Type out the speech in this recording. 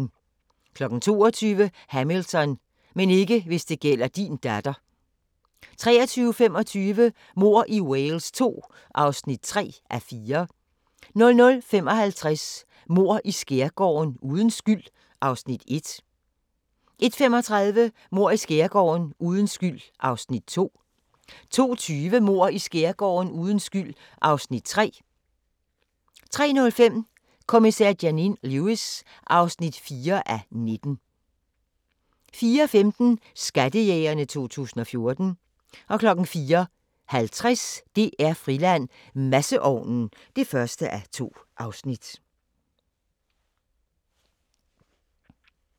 22:00: Hamilton: Men ikke hvis det gælder din datter 23:25: Mord i Wales II (3:4) 00:55: Mord i Skærgården: Uden skyld (Afs. 1) 01:35: Mord i Skærgården: Uden skyld (Afs. 2) 02:20: Mord i Skærgården: Uden skyld (Afs. 3) 03:05: Kommissær Janine Lewis (4:19) 04:15: Skattejægerne 2014 04:50: DR-Friland: Masseovnen (1:2)